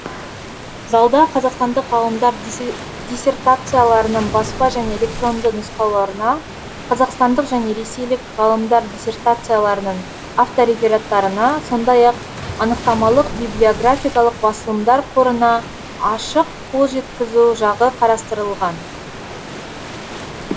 залда қазақстандық ғалымдар диссертацияларының баспа және электронды нұсқаларына қазақстандық және ресейлік ғалымдар диссертацияларының авторефераттарына сондай ақ анықтамалық библиографиялық басылымдар қорына ашық қолжеткізу жағы қарастырылған